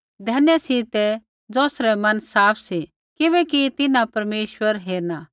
धन्य सी ते ज़ौसरै मन साफ़ सी किबैकि तिन्हां परमेश्वर हेरना